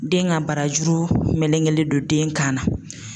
Den ka barajuru melegelen don den kan na.